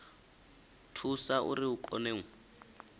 thusa uri hu kone u